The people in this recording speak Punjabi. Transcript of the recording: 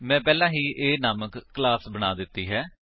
ਮੈਂ ਪਹਿਲਾਂ ਹੀ A ਨਾਮਕ ਕਲਾਸ ਬਣਾ ਦਿੱਤੀ ਹੈ